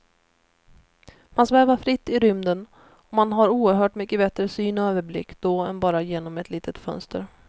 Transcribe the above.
Man svävar fritt i rymden och man har oerhört mycket bättre syn och överblick då än bara genom ett litet fönster.